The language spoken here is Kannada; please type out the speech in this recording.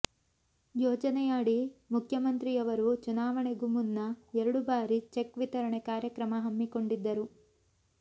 ಯೋಜನೆಯಡಿ ಮುಖ್ಯಮಂತ್ರಿಯವರು ಚುನಾವಣೆಗೂ ಮುನ್ನ ಎರಡು ಭಾರಿ ಚೆಕ್ ವಿತರಣೆ ಕಾರ್ಯಕ್ರಮ ಹಮ್ಮಿಕೊಂಡಿದ್ದರು